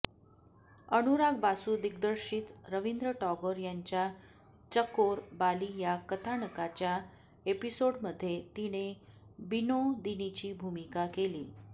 अनुराग बासू दिग्दर्शित रवींद्र टागोर यांच्या चकोर बाली या कथानकाच्या एपिसोडमझ्ये तिने बिनोदिनीची भूमिका केली